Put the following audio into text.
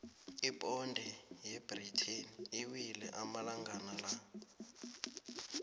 iponde yebritain iwile amalangana la